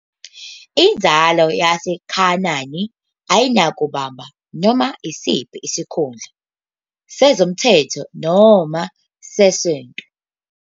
Inzalo yaseKhanani ayinakubamba noma yisiphi isikhundla, sezomthetho noma sesonto....